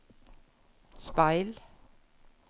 speil